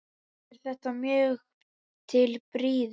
Er þetta mjög til prýði.